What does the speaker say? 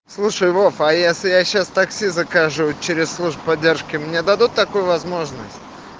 слушай вов а если я сейчас такси закажу через службу поддержки мне дадут такую возможность